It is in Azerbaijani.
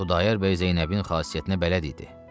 Xudayar bəy Zeynəbin xasiyyətinə bələd idi.